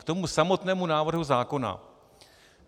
K tomu samotnému návrhu zákona.